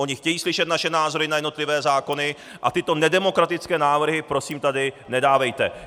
Oni chtějí slyšet naše názory na jednotlivé zákony, a tyto nedemokratické návrhy prosím tady nedávejte.